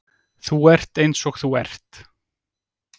Þú ert eins og þú ert.